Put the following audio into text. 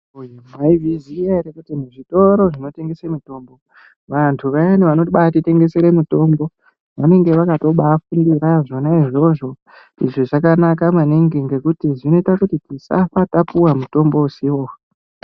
Mwaizviziya ere kuti muzvitoro zvinotengese mitombo, vantu vayani vanobaatirengesere mitombo vanonga vakatobaafundira zvona izvozvo. Izvi zvakanaka maningi ngekuti zvinoite kutisafa tapuwe mutombo usiwo.